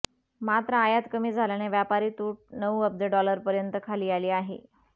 मात्र आयात कमी झाल्याने व्यापारी तूट नऊ अब्ज डॉलपर्यंत खाली आली आहे